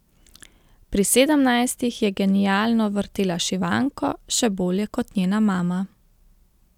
Pri sedemnajstih je genialno vrtela šivanko, še bolje kot njena mama.